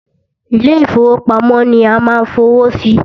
Ilé ìfọwọ́pamo ni a ma ń fowó sí.